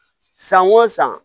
San o san